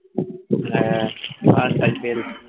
হ্যাঁ last IPL